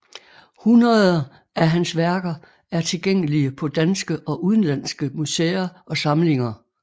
Hundreder af hans værker er tilgængelige på danske og udenlandske museer og samlinger